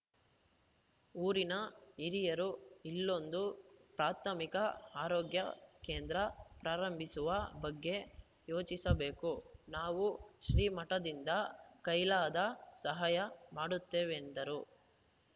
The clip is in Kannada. ಊರಿನ ಹಿರಿಯರು ಇಲ್ಲೊಂದು ಪ್ರಾಥಮಿಕ ಆರೋಗ್ಯ ಕೇಂದ್ರ ಪ್ರಾರಂಭಿಸುವ ಬಗ್ಗೆ ಯೋಚಿಸಬೇಕು ನಾವು ಶ್ರೀಮಠದಿಂದ ಕೈಲಾದ ಸಹಾಯ ಮಾಡುತ್ತೇವೆಂದರು